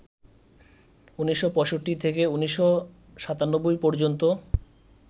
১৯৬৫ থেকে ১৯৯৭ পর্যন্ত